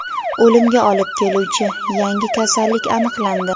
O‘limga olib keluvchi yangi kasallik aniqlandi.